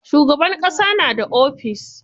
Shugaban ƙasa na da ofis.